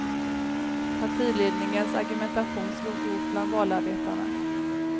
Partiledningens argumentation slog rot bland valarbetarna.